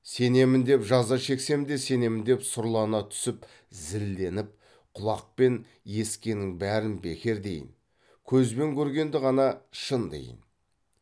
сенемін деп жаза шексем де сенемін деп сұрлана түсіп зілденіп құлақпен есіткеннің бәрін бекер дейін көзбен көргенді ғана шын дейін